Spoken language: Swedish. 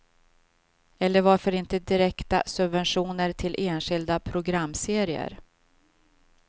Eller varför inte direkta subventioner till enskilda programserier.